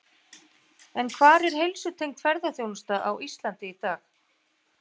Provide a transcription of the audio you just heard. En hvar er heilsutengd ferðaþjónusta á Íslandi í dag?